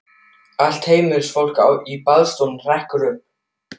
Allt heimilisfólkið í baðstofunni hrekkur upp.